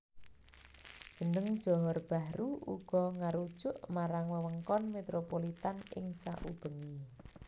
Jeneng Johor Bahru uga ngarujuk marang wewengkon metropolitan ing saubengé